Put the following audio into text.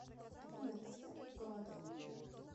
афина поставь гоа док